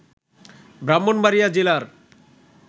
ব্রাহ্মণবাড়িয়া জেলার